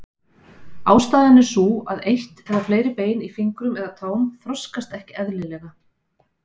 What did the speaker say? Ástæðan er sú að eitt eða fleiri bein í fingrum eða tám þroskast ekki eðlilega.